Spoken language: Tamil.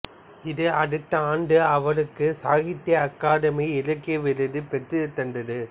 இது அடுத்த ஆண்டு அவருக்கு சாகித்ய அகாதமி இலக்கிய விருதை பெற்றுத் தந்தது